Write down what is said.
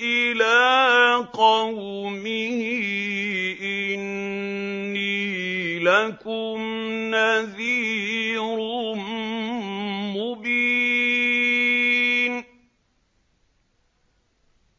إِلَىٰ قَوْمِهِ إِنِّي لَكُمْ نَذِيرٌ مُّبِينٌ